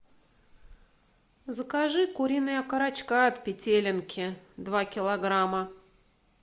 закажи куриные окорочка от петелинки два килограмма